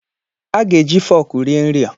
A ga-eji fọọkụ rie nri a